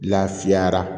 Lafiyara